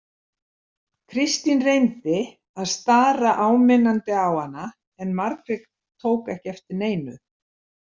Kristín reyndi að stara áminnandi á hana en Margrét tók ekkert eftir neinu.